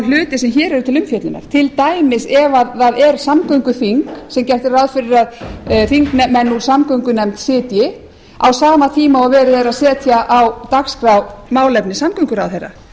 hluti sem hér eru til umfjöllunar til dæmis ef það er samgönguþing sem gert er ráð fyrir að þingmenn úr samgöngunefnd sitji á sama tíma og verið er að setja á dagskrá málefni samgönguráðherra